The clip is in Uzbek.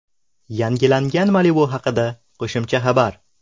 Yangilangan Malibu haqida qo‘shimcha xabar.